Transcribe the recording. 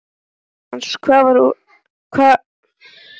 Rósmann, hvað er lengi opið í Byko?